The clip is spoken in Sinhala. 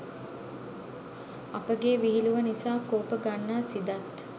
අපගේ විහිළුව නිසා කෝප ගන්නා සිදත්